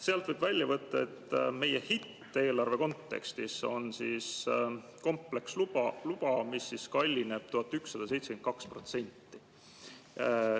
Sealt võib välja võtta, et meie hitt eelarve kontekstis on kompleksluba, mis kallineb 1172%.